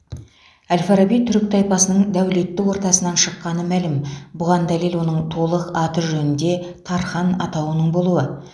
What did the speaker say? әл фараби түрік тайпасының дәулетті ортасынан шыққаны мәлім бұған дәлел оның толық аты жөнінде тархан атауының болуы